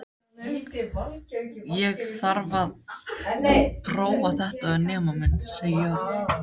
Ég þarf að prófa þetta við nemann minn, segir Þórunn.